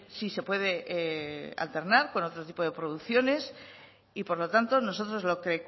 si se puede alternar con otro tipo de producciones y por lo tanto nosotros lo que